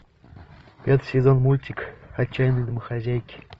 пятый сезон мультик отчаянные домохозяйки